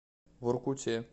воркуте